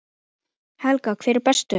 Helga: Hver er bestur?